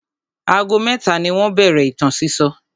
Ago mẹ́ta ni wọ́n bẹ̀rẹ̀ ìtàn sísọ.